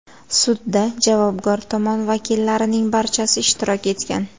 Sudda javobgar tomon vakillarining barchasi ishtirok etgan.